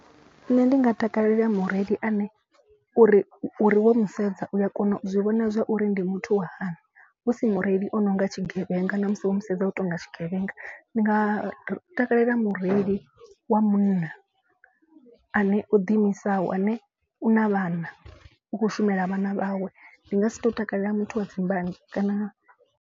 Nṋe ndi nga takalela mureili ane uri uri wo mu sedza u a kona u zwi vhona zwa uri ndi muthu wa hani. Husi mureili o no nga tshigevhenga na musi woto mu sedza u tonga tshigevhenga. Ndi nga ri takalela mureili wa munna ane o ḓi imisaho ane u na vhana. U khou shumela vhana vhawe ndi nga si tou takalela muthu wa dzi mbanzhe kana.